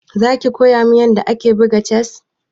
Za ki koya min yadda ake buga chess?